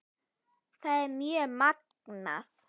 Það er mjög magnað.